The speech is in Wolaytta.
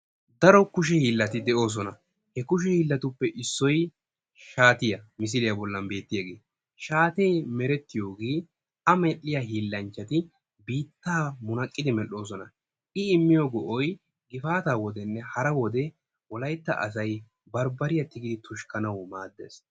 daro kushe hiillati de'oosona. he kushe hiillatuppe issoy shaatiyaa misiliya bollan beettiyaage. shaate meretiyooge a medhdhiya hiillanchchati biittaa munaqqidi medhdhoosona. I immiyo ga''ay gifaata wodenne hara wode Wolayttaasay bambbariya tigidi tuskkanaw maaddees.